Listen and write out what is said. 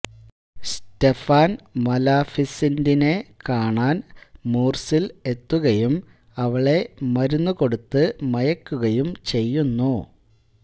Stefan മലാഫിസിന്റിനെ കാണാൻ മൂർസിൽ എത്തുകയും അവളെ മരുന്ന് കൊടുത്തു മയക്കുകയും ചെയ്യുന്നു